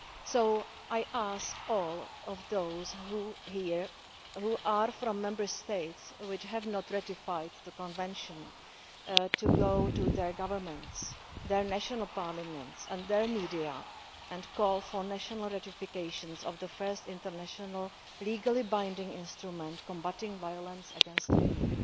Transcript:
So I ask all of those here who are from Member States which have not ratified the Convention to go to their governments, their national parliaments and their media and call for national ratifications of the first international legally binding instrument combating violence against women.